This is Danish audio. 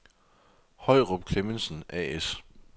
Høyrup & Clemmensen A/S